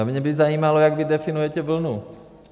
A mě by zajímalo, jak vy definujete vlnu.